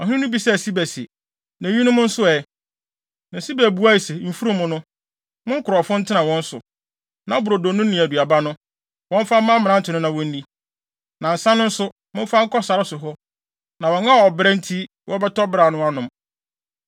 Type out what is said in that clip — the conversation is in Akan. Ɔhene no bisaa Siba se, “Na eyinom nso ɛ?” Na Siba buae se, “Mfurum no, mo nkurɔfo ntena wɔn so, na brodo no ne aduaba no, wɔmfa mma mmerante no na wonni. Na nsa no nso, momfa nkɔ sare so hɔ, na wɔn a ɔbrɛ nti wɔbɛtɔ beraw no anom.”